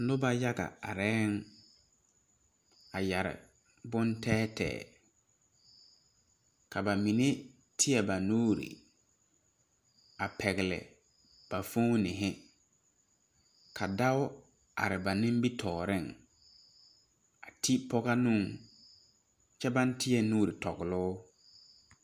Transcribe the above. Noba yaga arɛŋ a yɛre bontɛɛtɛɛ ka ba mine teɛ ba nuuri a pɛgle ba foohini ka dao are ba nimitɔɔreŋ a ti pɔge nuŋ kyɛ baŋ teɛ nuuri tɔgle o.